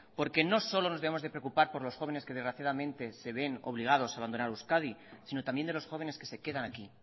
porque no solo nos debemos de preocupar por los jóvenes que desgraciadamente se ven obligados abandonar euskadi sino también de los jóvenes que se quedan aquí